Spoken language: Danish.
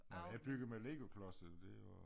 Jeg byggede med legoklodser og det var